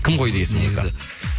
кім қойды есіміңізді